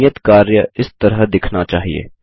नियत कार्य इस तरह दिखना चाहिए